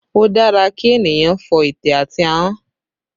Ó dára kí ènìyàn fọ ète àti ahọ́n